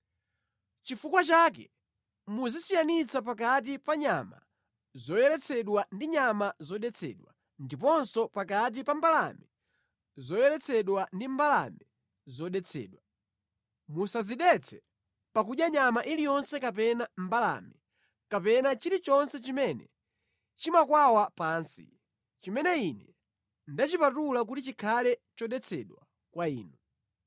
“ ‘Chifukwa chake muzisiyanitsa pakati pa nyama zoyeretsedwa ndi nyama zodetsedwa ndiponso pakati pa mbalame zoyeretsedwa ndi mbalame zodetsedwa. Musadzidetse pakudya nyama iliyonse kapena mbalame, kapena chilichonse chimene chimakwawa pansi, chimene Ine ndachipatula kuti chikhale chodetsedwa kwa inu.